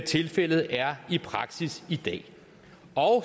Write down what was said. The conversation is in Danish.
tilfældet er i praksis i dag